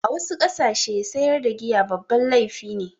A wasu ƙasashe sayar da giya babban laifi ne.